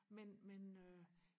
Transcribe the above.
men men øh